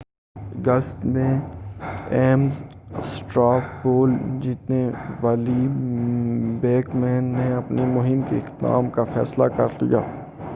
اگست میں ایمز اسٹرا پول جیتنے والی بیک مین نے اپنی مہم کے اختتام کا فیصلہ کر لیا